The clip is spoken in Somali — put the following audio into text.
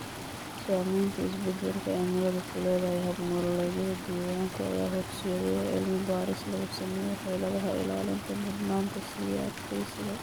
Saamaynta isbeddelka cimiladu ku leedahay hab-nololeedyada deegaanka ayaa horseedaya cilmi-baadhis lagu sameeyo xeeladaha ilaalinta ee mudnaanta siiya adkeysiga.